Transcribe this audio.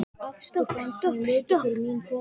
Stopp, stopp, stopp.